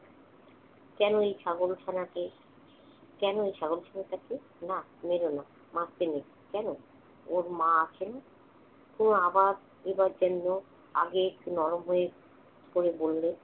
কেন এই ছাগলছানাকে কেন এই ছাগল ছানাটাকে? না মের না, মারতে নেই। কেন? ওর মা আছে না! ও আবার উড়ার জন্য আগে একটু নরম হয়ে করে বললে